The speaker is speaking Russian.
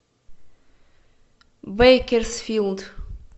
бейкерсфилд